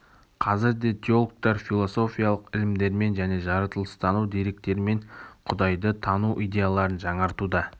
қазір де теологтар философиялық ілімдермен және жаратылыстану деректерімен құдайды тану идеяларын жаңартуда